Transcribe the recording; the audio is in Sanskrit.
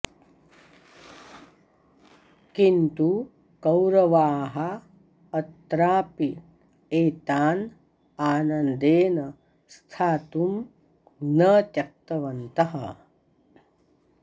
किन्तु कौरवाः अत्रापि एतान् आनन्देन स्थातुं न त्यक्तवन्तः